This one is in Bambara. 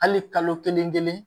Hali kalo kelen kelen